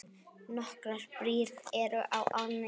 Nokkrar brýr eru á ánni.